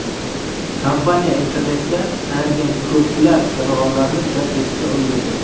Kompaniya internetda tanilgan ko‘plab jonivorlarni jalb etishga ulgurdi.